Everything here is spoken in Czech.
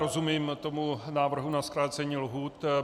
Rozumím tomu návrhu na zkrácení lhůt.